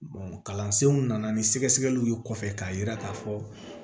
kalansenw nana ni sɛgɛsɛgɛliw ye kɔfɛ k'a yira k'a fɔ